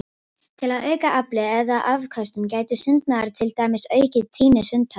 Til að auka aflið eða afköstin gæti sundmaðurinn til dæmis aukið tíðni sundtaka.